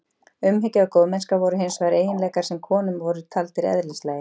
Umhyggja og góðmennska voru hins vegar eiginleikar sem konum voru taldir eðlislægir.